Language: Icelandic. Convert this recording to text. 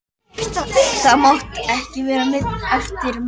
Það máttu ekki verða nein eftirmál.